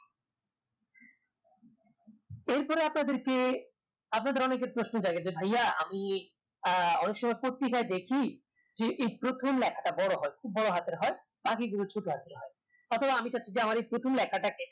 এরপর আপনাদেরকে আপনাদের অনেকের প্রশ্ন জাগে যে ভাইয়া আমি আহ অনেকসময় পত্রিকায় দেখি যে এই প্রথম লেখাটা বড়ো হয় বড়ো হাতের হয় বাকিগুলো ছোট হাতের হয় অথবা আমি চাচ্ছি যে আমার এই প্রথম লেখাটাকে